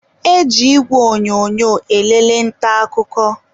e ji igwe onyonyo elele nta akụkọ